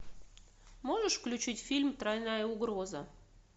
можешь включить фильм тройная угроза